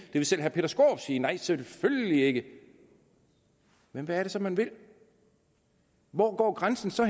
vil selv herre peter skaarup sige nej selvfølgelig ikke men hvad er det så man vil hvor går grænsen så